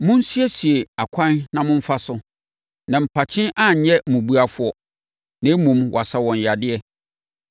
Monsiesie akwan na momfa so, na mpakye anyɛ mmubuafoɔ, na mmom, wɔasa wɔn yadeɛ.